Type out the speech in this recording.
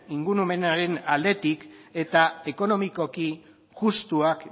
ingurumenaren aldetik eta ekonomikoki justuak